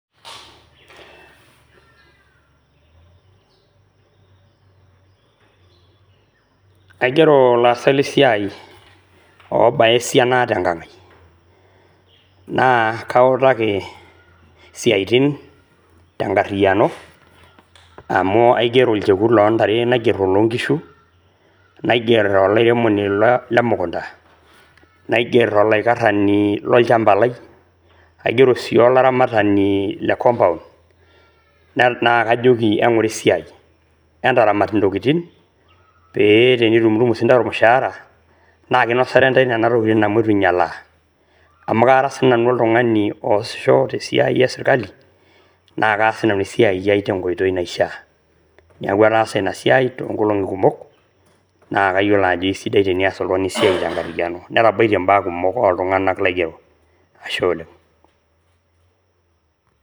Aigero ilaasak le siai oobaya siaina te nkang ai. Naa kautaki siaitin te nkariyiano amu aigero olchekut loo ntare, naigerr oloo nkishu, naigerr olairemoni le mukunta, naiger olaikarrani lo nchamba lai , naiger sii olaramatani le compound naa kajoki sii eng`ura esiai. Entaramat intokitin pee tenitumutumu sii ntae olmushahara naa kinosare ntae nena tokitin amu itu inyialaa. Amu kara sii nanu oltung`ani oasisho te siai e sirkali naa kaas sii nanu esiai ai te nkoitoi naishia. Niaku ataasa ina siai too nkolong`i kumok naa kayiolo ajo eisidai teneas oltung`ani esiai te nkariyiano . Netabaitie imbaa kumok oo iltung`anak laigero. Ashe oleng.